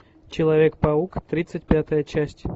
человек паук тридцать пятая часть